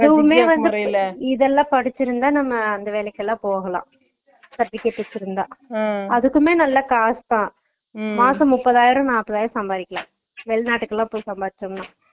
அதுவுமே வந்து நம்ம இதுல்லா படிச்சுருந்தா நம்ம அந்த வேலைக்கு எல்லாம் போலாம் செர்டிபிகாடே வெச்சுருந்த அதுக்குமே நல்ல காஸ்தான் மாசம் நூப்பதுஆயிரம் நாப்பது ஆயிரம் சம்பாரிக்கலாம் வெளிநாட்டுக்கு எல்லாம்போய் சம்பாரிச்சுட்டு வரலாம்